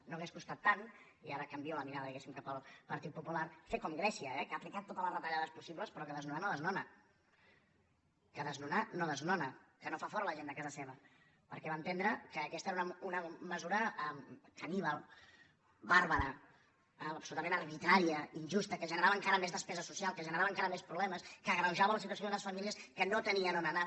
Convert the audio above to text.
no hauria costat tant i ara canvio la mirada diguéssim cap al partit popular fer com grècia eh que ha aplicat totes les retallades possibles però que desnonar no desnona que desnonar no desnona que no fa fora la gent de casa seva perquè va entendre que aquesta era una mesura caníbal bàrbara absolutament arbitrària injusta que generava encara més despesa social que generava encara més problemes que agreujava la situació d’unes famílies que no tenien on anar